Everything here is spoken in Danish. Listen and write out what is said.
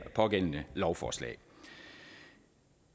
pågældende lovforslag